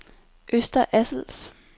Øster Assels